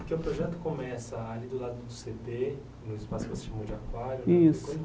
Porque o projeto começa ali do lado do cê dê, no espaço que você chamou de aquário. Isso